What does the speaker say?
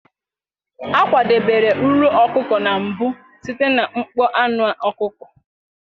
A kwadebere nro ọkụkọ na mbụ site na mkpọ anụ ọkụkọ.